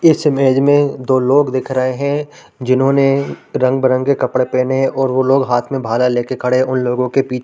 इस इमेज में दो लोग दिख रहे है जिन्होंने रंग -बिरंगे कपड़े पहने है और वो लोग हाथ में भाला ले के खड़े है उन लोगों के पी --